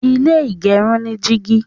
ilé igerun ni jìgì.